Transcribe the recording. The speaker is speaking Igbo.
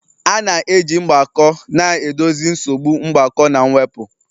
A na-eji mgbako na-edozi nsogbu mgbakọ na mwepụ.